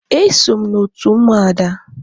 E so m n'otu Ụmụada.